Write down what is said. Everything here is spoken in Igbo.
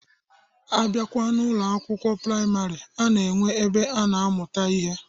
Abịakwa n'Ụlọ akwụkwọ praịmarị, a na-enwe ebe a na-amụta ihe.